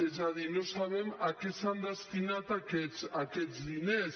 és a dir no sabem a què s’han destinat aquests diners